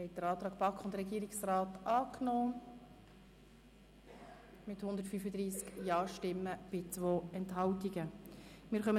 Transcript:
Sie haben den Antrag mit 135 Ja- gegen 0 Nein-Stimmen bei 2 Enthaltungen angenommen.